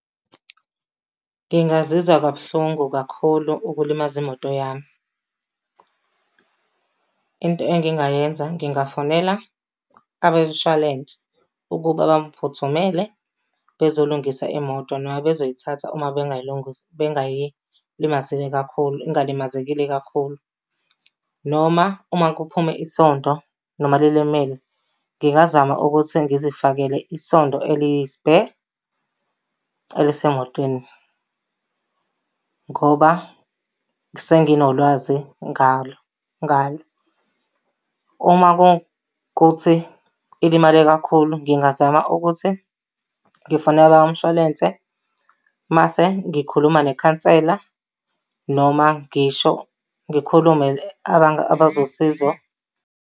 Ngingazizwa kabuhlungu kakhulu ukulimaza imoto yami. Into engingayenza ngingafonela abemshwalense ukuba bangiphuthumele bezolungisa imoto noma bezoyithatha uma bengayilungisa, bengayilimazile kakhulu ingalimazekile kakhulu. Noma uma kuphume isondo noma lilimele, ngingazama ukuthi ngizifakele isondo eliyi-spare elisemotweni ngoba senginolwazi ngalo ngalo. Uma kukuthi ilimale kakhulu, ngingazama ukuthi ngifonela umshwalense mase ngikhuluma nekhansela noma ngisho ngikhulume abazosizo.